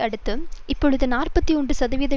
அடுத்து இப்பொழுது நாற்பத்தி ஒன்று சதவிகித